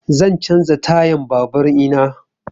Zan canza tayan babur ina